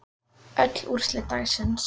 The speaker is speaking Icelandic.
Öll úrslit dagsins